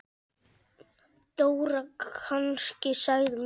Dóra kannski? sagði Milla.